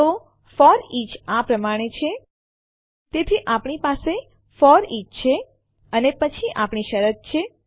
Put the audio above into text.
તો ફોરીચ આ પ્રમાણે છે તેથી આપણી પાસે ફોરીચ છે અને પછી અહીં આપણી શરત છે